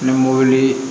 Ni mobili